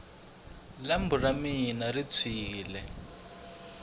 lambu ra mina ri tshwini